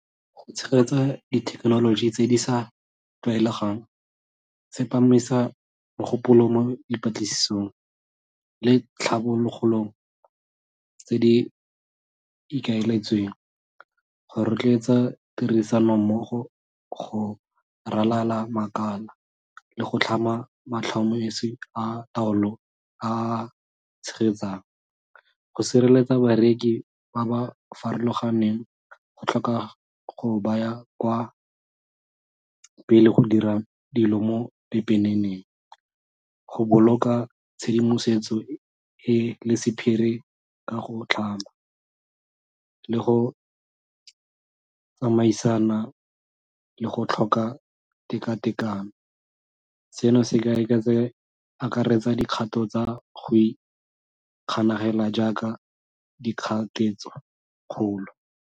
Go tshegetsa dithekenoloji tse di sa tlwaelegang, tsepamisa mogopolo mo dipatlisisong le tlhabologo tse di ikaeletsweng, go rotloetsa tirisano mmogo go ralala makala le go tlhama matlhomeso a taolo a tshegetsang, go sireletsa bareki ba ba farologaneng, go tlhoka go baya kwa pele go dira dilo mo pepeneneng, go boloka tshedimosetso e le sephiri ka go tlhama le go tsamaisana le go tlhoka tekatekano seno se akaretsa dikgato tsa go ikganela jaaka dikgato tse kgolo.